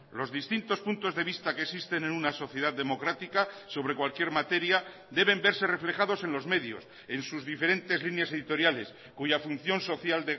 los distintos puntos de vista que existen en una sociedad democrática sobre cualquier materia deben verse reflejados en los medios en sus diferentes líneas editoriales cuya función social